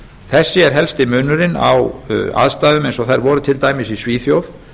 þessi er helsti munurinn á aðstæðum eins og þær voru til dæmis í svíþjóð